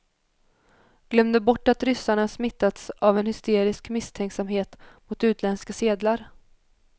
Glömde bort att ryssarna smittats av en hysterisk misstänksamhet mot utländska sedlar.